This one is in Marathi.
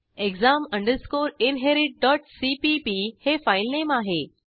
exam inheritcpp हे फाईल नेम आहे